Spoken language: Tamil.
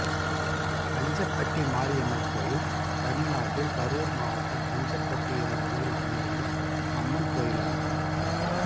பஞ்சப்பட்டி மாரியம்மன் கோயில் தமிழ்நாட்டில் கரூர் மாவட்டம் பஞ்சப்பட்டி என்னும் ஊரில் அமைந்துள்ள அம்மன் கோயிலாகும்